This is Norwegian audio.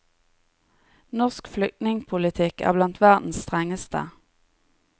Norsk flykningpolitikk er blandt verdens strengeste.